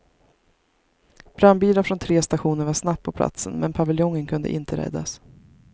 Brandbilar från tre stationer var snabbt på platsen, men paviljongen kunde inte räddas.